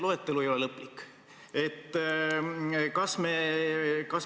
Loetelu ei ole lõplik.